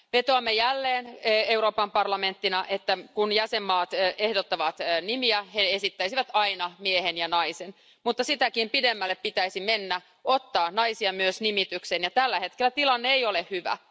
Vetoamme jälleen Euroopan parlamenttina, että kun jäsenmaat ehdottavat nimiä, he esittäisivät aina miehen ja naisen, mutta sitäkin pidemmälle pitäisi mennä ja ottaa naisia myös nimitykseen ja tällä hetkellä tilanne ei ole hyvä.